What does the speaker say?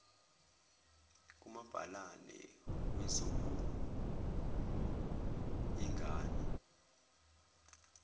kumabhalane wezokul ingana